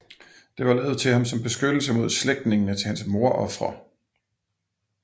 Det var lavet til ham som beskyttelse mod slægtningene til hans mordofre